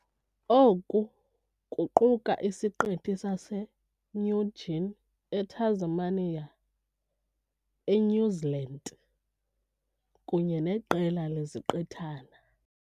Oku kuquka isiqithi sase saseNew Guinea, eTasmania, eNew Zealand kunye neqela leziqithana.